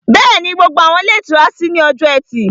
Bẹ́ẹ̀ni, gbogbo àwọn ilé ìtura kékeré ṣí ní ọjọ́ ẹtì